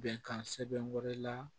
Bɛnkan sɛbɛn wɛrɛ la